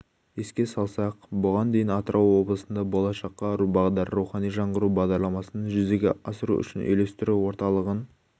еске салсақ бұған дейін атырау облысында болашаққа бағдар рухани жаңғыру бағдарламасын жүзеге асыру үшін үйлестіру орталығын